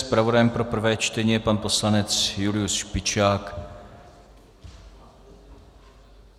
Zpravodajem pro prvé čtení je pan poslanec Julius Špičák.